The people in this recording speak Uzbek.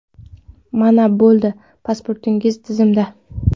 Mana bo‘ldi, pasportingiz tizimda!